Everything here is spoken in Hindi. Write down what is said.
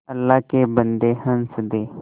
अल्लाह के बन्दे हंस दे